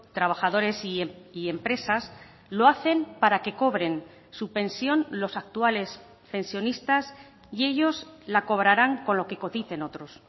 trabajadores y empresas lo hacen para que cobren su pensión los actuales pensionistas y ellos la cobrarán con lo que coticen otros